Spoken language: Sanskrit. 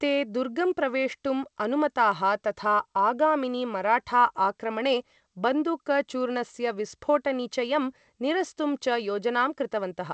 ते दुर्गं प्रवेष्टुम् अनुमताः तथा आगामिनि मराठा आक्रमणे बन्दुकचूर्णस्य विस्फोटनिचयं निरस्तुं च योजनां कृतवन्तः।